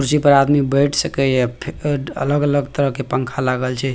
कुर्सी पे आदमी बैठ सकय ये फे अलग-अलग तरह के पंखा लागल छै।